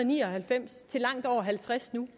ni og halvfems til langt over halvtreds nu